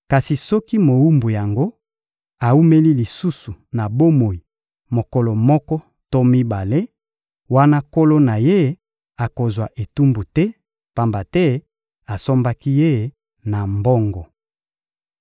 Kasi soki mowumbu yango awumeli lisusu na bomoi mokolo moko to mibale, wana nkolo na ye akozwa etumbu te, pamba te asombaki ye na mbongo.